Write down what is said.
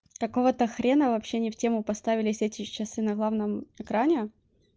какого-то хрена вообще не в тему поставились эти часы на главном экране